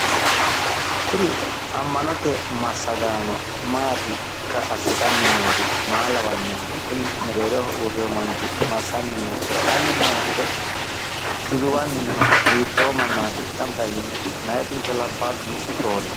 Kuri amma'note massaganno maatikka assitanni noori maa lawannohe? Kuri mereeroho uurre no manchi massanninno oso'lanni noonso duduwanni noho? hiitto mannaati gamba yiino? Meyaatinso labbahu roorino?